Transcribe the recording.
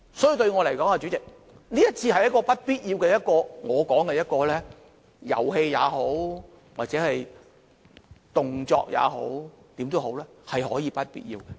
所以，代理主席，對我來說，這次是不必要的——我會這樣說——是遊戲也好，是動作也好，無論怎樣，也是不必要的。